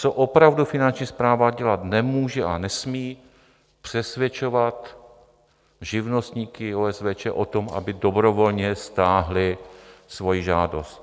Co opravdu Finanční správa dělat nemůže a nesmí, přesvědčovat živnostníky, OSVČ o tom, aby dobrovolně stáhli svoji žádost.